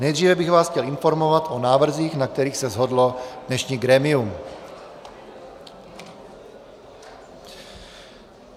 Nejdříve bych vás chtěl informovat o návrzích, na kterých se shodlo dnešní grémium.